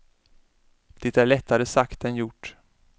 Det är lättare sagt än gjort.